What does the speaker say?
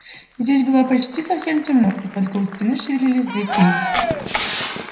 здесь было почти совсем темно и только у стены шевелились две тени